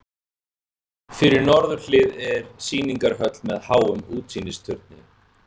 Fyrir norðurhlið er sýningarhöll með háum útsýnisturni.